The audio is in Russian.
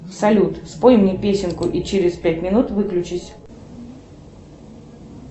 салют спой мне песенку и через пять минут выключись